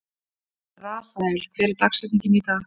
Rafael, hver er dagsetningin í dag?